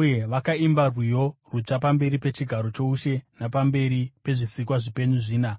Uye vakaimba rwiyo rutsva pamberi pechigaro choushe napamberi pezvisikwa zvipenyu zvina